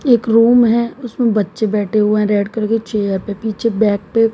एक रूम है उसमें बच्चे बैठे हुए हैं रेड कलर के चेयर पे पीछे बैग पे--